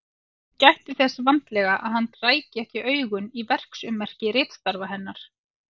Hún gætti þess vandlega að hann ræki ekki augun í verksummerki ritstarfa hennar.